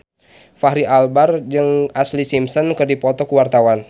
Fachri Albar jeung Ashlee Simpson keur dipoto ku wartawan